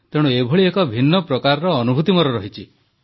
ତେଣୁ ଏଭଳି ଏକ ଭିନ୍ନ ପ୍ରକାର ଅନୁଭୂତି ମୋର ରହିଛି